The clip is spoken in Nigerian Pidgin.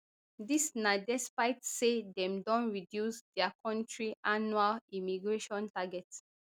dis na despite say dem don reduce dia kontri annual immigration targets